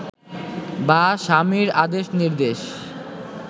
বা স্বামীর আদেশ নির্দেশ